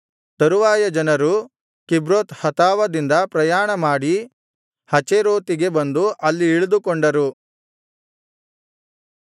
ತರುವಾಯ ಜನರು ಕಿಬ್ರೋತ್ ಹತಾವದಿಂದ ಪ್ರಯಾಣಮಾಡಿ ಹಚೇರೋತಿಗೆ ಬಂದು ಅಲ್ಲಿ ಇಳಿದುಕೊಂಡರು